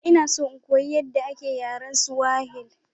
Ina so in koyi yadda ake yaren Swahili.